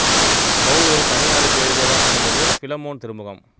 பவுல் ஒரு தனி ஆளுக்கு எழுதியதாக அமைந்தது பிலமோன் திருமுகம்